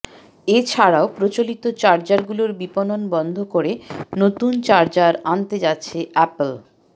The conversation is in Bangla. এছাড়াও প্রচলিত চার্জারগুলোর বিপণন বন্ধ করে নতুন চার্জার আনতে যাচ্ছে অ্যাপল